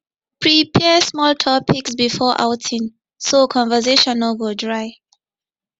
prepare small topics before outing so conversation no go dry